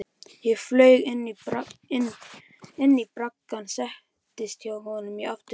Ég flaug inn í braggann, settist hjá honum í aftursætið.